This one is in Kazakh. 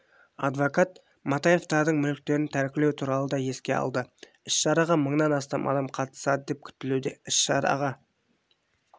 адвокат матаевтардың мүліктерін тәркілеу туралы да еске алды іс-шараға мыңнан астам адам қатысады деп күтілуде іс-шараға